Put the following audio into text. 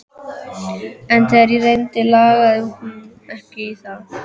En þegar á reyndi lagði hún ekki í það.